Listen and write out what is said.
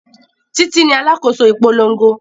Títí ní alákòóso ìpolongo